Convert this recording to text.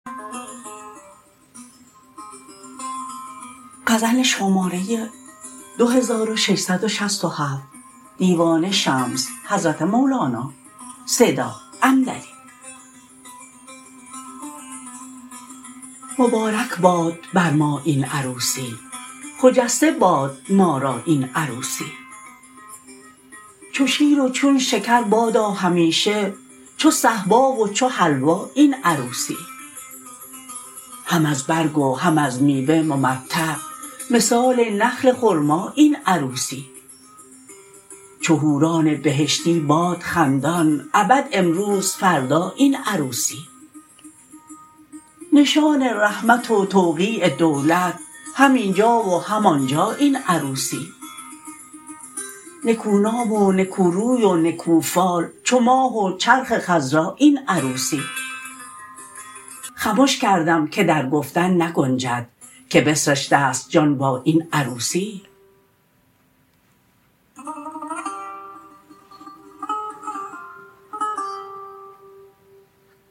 مبارک باد بر ما این عروسی خجسته باد ما را این عروسی چو شیر و چون شکر بادا همیشه چو صهبا و چو حلوا این عروسی هم از برگ و هم از میوه ممتع مثال نخل خرما این عروسی چو حوران بهشتی باد خندان ابد امروز فردا این عروسی نشان رحمت و توقیع دولت هم این جا و هم آن جا این عروسی نکونام و نکوروی و نکوفال چو ماه و چرخ خضرا این عروسی خمش کردم که در گفتن نگنجد که بسرشت است جان با این عروسی